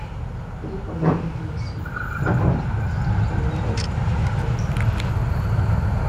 pipu wey dey sick suppose dey sleep well well make dia bodi dey strong